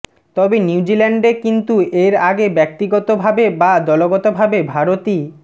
তবে নিউজিল্যান্ডে কিন্তু এর আগে ব্যাক্তিগতভাবে বা দলগত ভাবে ভারতী